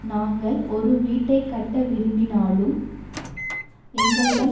நாங்கள் ஒரு வீட்டைக்கட்ட விரும்பினாலும் எங்களிடம்